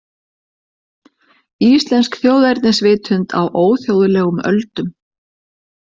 Íslensk þjóðernisvitund á óþjóðlegum öldum